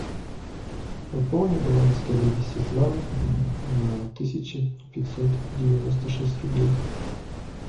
пополни баланс коллеги светланы на тысяча пятьсот девяносто шесть рублей